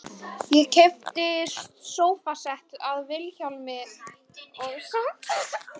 Ég keypti sófasett af Vilhjálmi og svampdýnu hjá Pétri